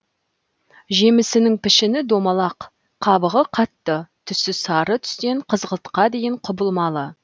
жемісінің пішіні домалақ қабығы қатты түсі сары түстен қызғылтқа дейін құбылмалы